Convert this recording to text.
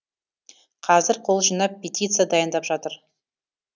қазір қол жинап петиция дайындап жатыр